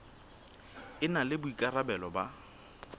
e na le boikarabelo ba